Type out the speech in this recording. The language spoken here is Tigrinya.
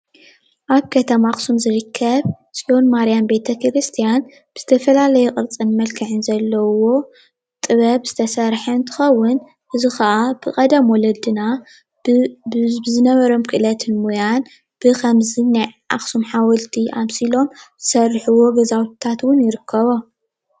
ኣብ ከተማ ኣኽሱም ዝርከብ ጽዮን ማርያም ቤተ ክርስትያን ብዝተፈላለየ ቕርፅን መልክዕን ዘለዉዎ ጥበብ ዝተሰርሐን እንትክውን እዚ ኸኣ ብቀደም ወለድና ብዝነበሮም ክእለት ሞያን ብኸምዚ ናይ ኣኽሱም ሓወልቲ ኣምሲሎም ዝሰሪሑዎ ገዛውታቶም ይርከቦ።